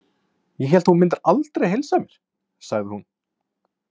Ég hélt að þú mundir aldrei heilsa mér, sagði hún.